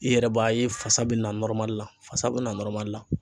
I yɛrɛ b'a ye fasa bɛ na la fasa bɛna la.